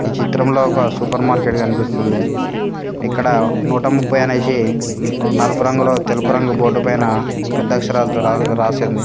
చిత్రంలో ఒక supermarket కనిపిస్తుంది ఇక్కడ నూట ముపై అనేసి నలుపు రంగులో తెలుపు రంగు బోర్డు పైన పెద్ద అక్షరాలతో రా రాసింది.